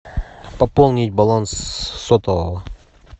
пополнить баланс сотового